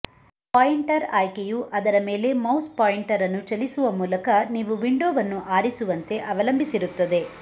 pointer ಆಯ್ಕೆಯು ಅದರ ಮೇಲೆ ಮೌಸ್ ಪಾಯಿಂಟರ್ ಅನ್ನು ಚಲಿಸುವ ಮೂಲಕ ನೀವು ವಿಂಡೋವನ್ನು ಆರಿಸುವಂತೆ ಅವಲಂಬಿಸಿರುತ್ತದೆ